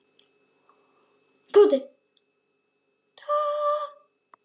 Tóti varð rjóður í framan.